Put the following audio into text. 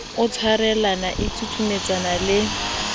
e tshwarellang e susumetsang le